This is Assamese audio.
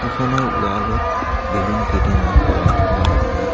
ফটো খনৰ ৱাল ত বেলুন কেইটামান লগাই থোৱা আছে।